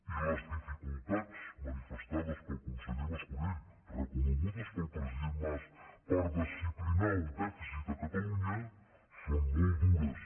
i les dificultats manifestades pel conseller mas colell reconegudes pel president mas per disciplinar el dèficit a catalunya són molt dures